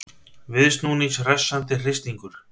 Viðsnúnings hressandi hristingur